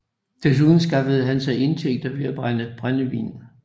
Desuden skaffede han sig indtægter ved at brænde brændevin